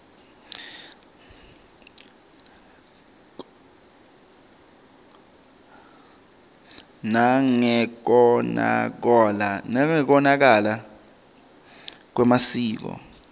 nangekonakala kwemvelo